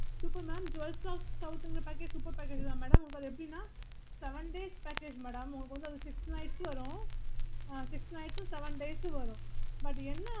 yes mam yes mamokayokay